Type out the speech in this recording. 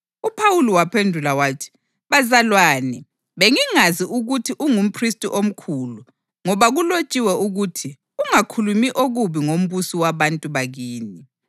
UPhawuli waphendula wathi, “Bazalwane, bengingazi ukuthi ungumphristi omkhulu; ngoba kulotshiwe ukuthi: ‘Ungakhulumi okubi ngombusi wabantu bakini.’ + 23.5 U-Eksodasi 22.28”